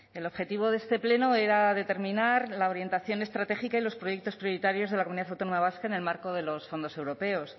el objetivo de este pleno era determinar la orientación estratégica y los proyectos prioritarios de la comunidad autónoma vasca en el marco de los fondos europeos